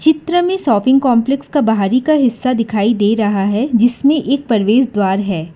चित्र में shopping complex का बाहरी का हिस्सा दिखाई दे रहा है जिसमें एक प्रवेश द्वार है।